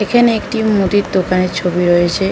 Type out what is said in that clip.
এখানে একটি মুদির দোখানের ছবি দেওয়া রয়েছে।